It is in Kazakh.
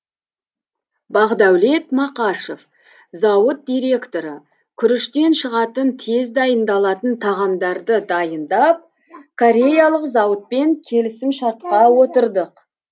бақдәулет мақашев зауыт директоры күріштен шығатын тез дайындалатын тағамдарды дайындап кореялық зауытпен келісімшартқа отырдық